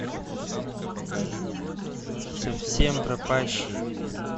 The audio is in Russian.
совсем пропащий